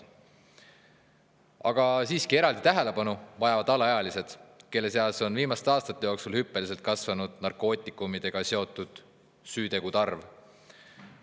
Aga siiski vajavad eraldi tähelepanu alaealised, kelle seas on viimaste aastate jooksul hüppeliselt kasvanud narkootikumidega seotud süütegude arv.